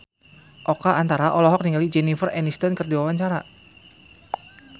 Oka Antara olohok ningali Jennifer Aniston keur diwawancara